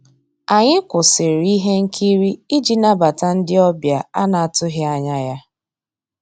Ànyị́ kwụ́sị́rí íhé nkírí ìjì nabàtà ndị́ ọ̀bịá á ná-àtụ́ghị́ ànyá yá.